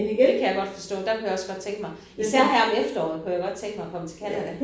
Det kan jeg godt forstå der kunne jeg også godt tænke mig. Især her om efteråret kunne jeg godt tænke mig at komme til Canada